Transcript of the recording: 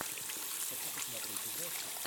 хочу посмотреть ужастик